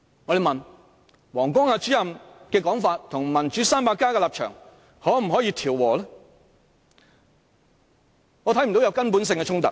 若問王光亞主任的說法與"民主 300+" 的立場可否調和，我則看不到有根本性的衝突。